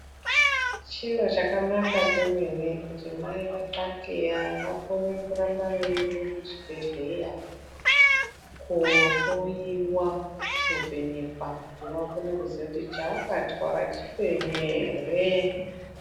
Chiro chakanaka kwemene kuti mai vatxatxeya vakone rambe veiende kuchibhedheya kohloiwa, kuvhenekwa kuti vakone kuziya kuti chavakatwara chipenyu ere.